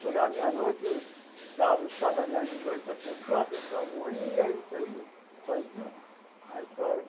Chegava meia-noite, dava o chá da meia-noite à pessoa, a pessoa morria, isso aí, isso aí viu? A história.